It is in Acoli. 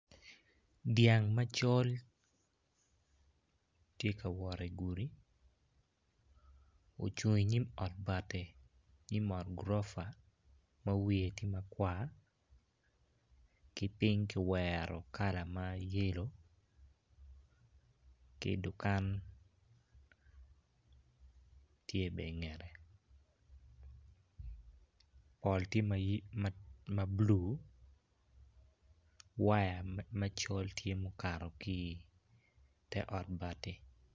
Dyang macol ti ka wot igudi ocung inyim ot bati nyim ot gurofa ma wiye ti makwar ki ping kilwero kala mayelo ki dukan tye bene ingette pol ti ma bulu waya macol tye ma okato ki ite ot bati.